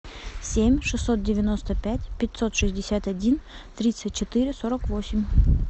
семь шестьсот девяносто пять пятьсот шестьдесят один тридцать четыре сорок восемь